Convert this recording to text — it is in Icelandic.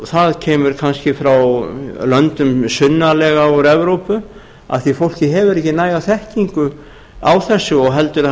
það kemur kannski frá löndum sunnarlega úr evrópu af því að fólkið hefur ekki næga þekkingu á þessu og heldur að það sé